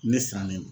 Ne sannen no